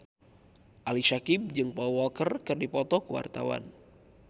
Ali Syakieb jeung Paul Walker keur dipoto ku wartawan